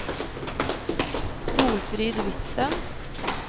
Solfrid Hvidsten